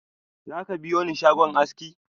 Zaka biyoni shagon aski?